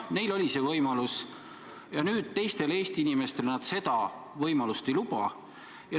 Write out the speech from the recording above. Neil oli see võimalus, aga nüüd teistele Eesti inimestele nad seda võimalust ei taha lubada.